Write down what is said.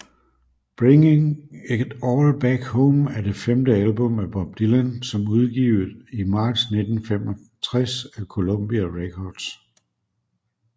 Bringing It All Back Home er det femte album af Bob Dylan som udgivet i marts 1965 af Columbia Records